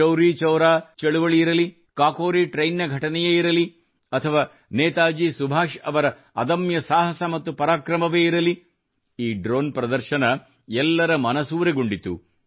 ಚೌರಿಚೌರಾ ಚಳವಳಿಯಿರಲಿ ಕಾಕೋರಿಟ್ರೆನ್ ನ ಘಟನೆಯೇ ಇರಲಿ ಅಥವಾ ನೇತಾಜಿ ಸುಭಾಷ್ ಅವರ ಅದಮ್ಯ ಸಾಹಸ ಮತ್ತು ಪರಾಕ್ರಮವೇ ಇರಲಿ ಈ ಡ್ರೋನ್ ಪ್ರದರ್ಶನ ಎಲ್ಲರ ಮನಸೂರೆಗೊಂಡಿತು